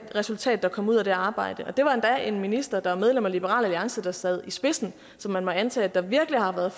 det resultat der kom ud af det arbejde det var endda en minister der var medlem af liberal alliance der sad i spidsen så man må antage at der virkelig har været